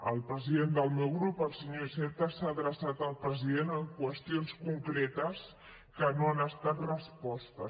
el president del meu grup el senyor iceta s’ha adreçat al president en qüestions concretes que no han estat respostes